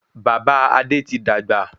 Bàbá Adé ti dàgbà